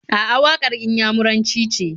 A'a, waƙar Inyamuranci ce.